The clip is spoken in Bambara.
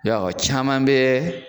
Ya o caman bɛ